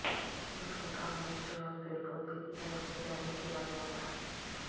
اس کا کام بچوں اور پھر پوتے کی طرف سے جاری کیا گیا تھا